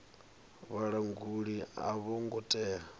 vhalanguli a vho ngo tea